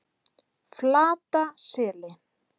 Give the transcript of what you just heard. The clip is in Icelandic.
Flataseli